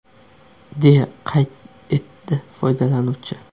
deya qayd etdi foydalanuvchi.